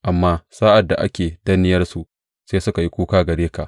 Amma sa’ad da ake danniyarsu sai suka yi kuka gare ka.